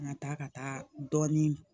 An ka taa ka taa dɔɔnin